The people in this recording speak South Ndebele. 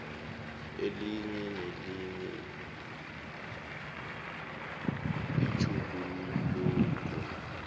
elinye nelinye itjhuguluko